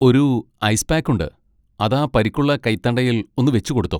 ഒരു ice pack ഉണ്ട്, അതാ പരിക്കുള്ള കൈത്തണ്ടയിൽ ഒന്ന് വെച്ചുകൊടുത്തോ.